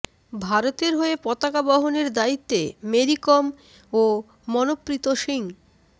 ভারতের হয়ে পতকা বহনের দায়িত্বে মেরি কম ও মনপ্রীত সিং